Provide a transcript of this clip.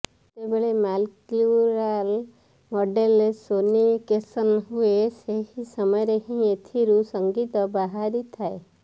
ଯେତେବେଳେ ମାଲିକ୍ୟୁଲାର ମଡେଲର ସୋନିକେସନ୍ ହୁଏ ସେହି ସମୟରେ ହିଁ ଏଥିରୁ ସଂଗୀତ ବାହାରିଥାଏ